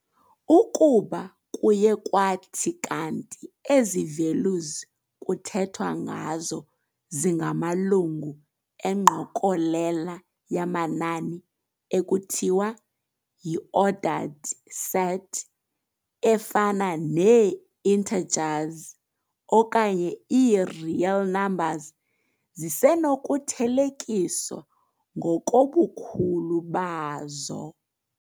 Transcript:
Ukuba kuye kwathi kanti ezi values kuthethwa ngazo zingamalungu engqokolela yamanani ekuthiwa yi-ordered set, efana nee-intergers okanye ii-real numbers, zisenokuthelekiswa ngokobukhulu bazo.